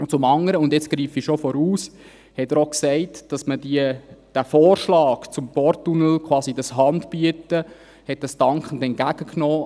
Zum anderen – jetzt greife ich bereits vor –, hat er auch gesagt, dass er den Vorschlag zum Porttunnel – quasi das Handbieten – dankend als Postulat entgegennimmt.